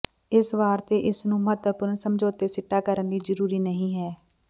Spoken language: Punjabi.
ਇਸ ਵਾਰ ਤੇ ਇਸ ਨੂੰ ਮਹੱਤਵਪੂਰਨ ਸਮਝੌਤੇ ਸਿੱਟਾ ਕਰਨ ਲਈ ਜ਼ਰੂਰੀ ਨਹੀ ਹੈ